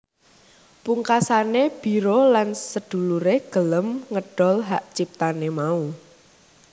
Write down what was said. Pungkasane Biro lan sedulure gelem ngedol hak ciptane mau